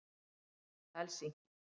Helsinki